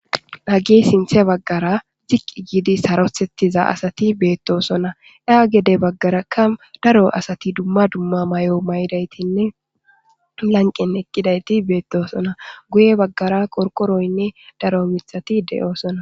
Hagay sinththe bagara ziq giid saroththiza asati bettosona geda bagarakka daro asati duma dumma mayo mayidaytinne lanqen eqidayti betosona guye baggara qorqoroyinne daro mithati de'osonna